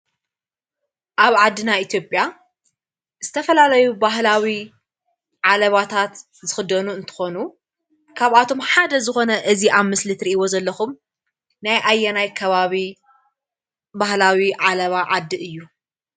አብ ዓድና ኢትጲያ ዝተፈላለዩ ባህላዊ ዓለባታት ዝኽደኑ እንትኾኑ ካብኣቶም ሓደ ዝኾነ እዚ አብ መስሊ እተሪኢዎ ዘለኹም ናይ አየናይ ከባቢ ባህላዊ ዓለባ ዓዲ እዩ?